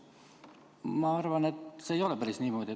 Ma arvan, et see ei ole päris niimoodi.